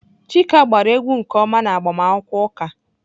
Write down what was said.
Chika gbara egwu nke ọma n'agbamakwụkwọ ụka.